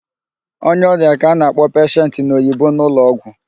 Onye ọrịa ka a na-akpọ peshent n'Oyibo n'ụlọgwụ.